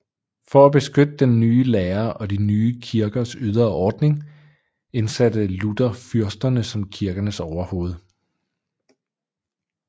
For at beskytte den nye lære og de nye kirkers ydre ordning indsatte Luther fyrsterne som kirkernes overhoved